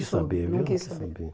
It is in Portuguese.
Eu não quis saber né. Não quis saber.